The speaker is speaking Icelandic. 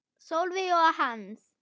Sólveig og Hans.